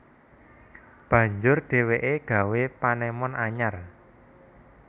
Banjur dheweke gawé panemon anyar